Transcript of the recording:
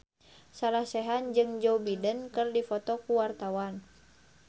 Sarah Sechan jeung Joe Biden keur dipoto ku wartawan